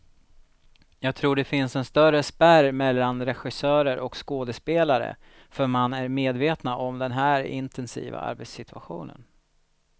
Jag tror det finns en större spärr mellan regissörer och skådespelare, för man är medvetna om den här intensiva arbetssituationen.